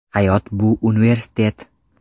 Hayot bu universitet.